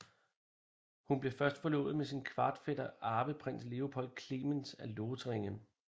Hun blev først forlovet med sin kvartfætter Arveprins Leopold Clemens af Lothringen